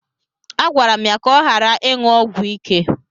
Agwara m ya ka ọ ghara ịṅụ ọgwụ ike.